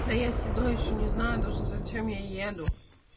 да я сюда ещё не знаю даже зачем я еду